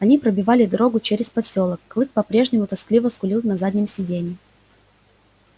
они пробивали дорогу через подлесок клык по-прежнему тоскливо скулил на заднем сиденье